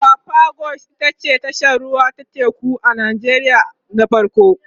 apapa quays ita ce tashar ruwa ta teku na farko a nijeriya